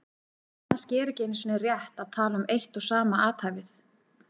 Kannski er ekki einu sinni rétt að tala um eitt og sama athæfið.